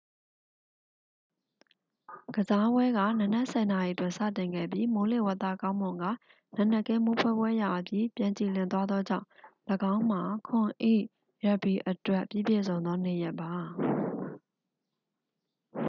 ကစားပွဲက နံနက် 10:00 တွင် စတင်ခဲ့ပြီး မိုးလေဝသကောင်းမွန်ကာ နံနက်ခင်း မိုးဖွဲဖွဲရွာပြီး ပြန်ကြည်လင် သွားသောကြောင့် ၎င်းမှာ 7 ၏ ရပ်ဘီအတွက် ပြီးပြည့်စုံသော နေ့ရက်ပါ